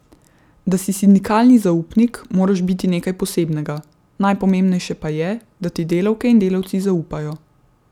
Da si sindikalni zaupnik, moraš biti nekaj posebnega, najpomembnejše pa je, da ti delavke in delavci zaupajo.